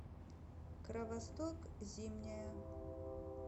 кровосток зимняя